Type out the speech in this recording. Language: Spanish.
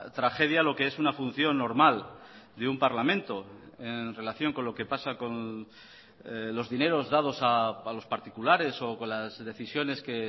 tragedia lo que es una función normal de un parlamento en relación con lo que pasa con los dineros dados a los particulares o con las decisiones que